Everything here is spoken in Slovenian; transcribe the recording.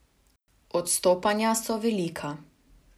Odstopanja so velika.